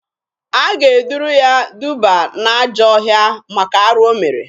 A ga-eduru ya duba n'ajọọ ọhịa maka arụ o mere.